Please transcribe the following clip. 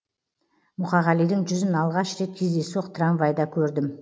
мұқағалидың жүзін алғаш рет кездейсоқ трамвайда көрдім